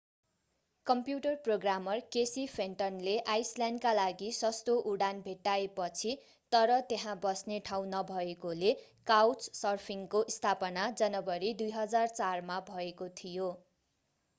computer programmer Casey फेन्टनले आईसल्याण्डका लागि सस्तो उडान भेट्टाएपछि तर त्यहाँ बस्ने ठाउँ नभएकोले काउचसर्फिङ्गको स्थापना जनवरी 2004 मा भएको थियो